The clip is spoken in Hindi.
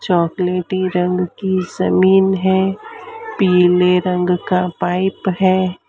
चॉकलेटी रंग की जमीन है पीले रंग का पाइप है।